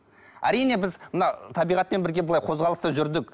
әрине біз мына табиғатпен бірге былай қозғалыста жүрдік